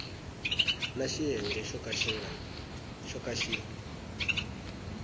na xiyenge xo ka xi